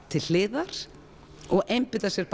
til hliðar og einbeita sér